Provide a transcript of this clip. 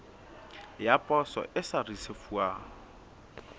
ya poso e sa risefuwang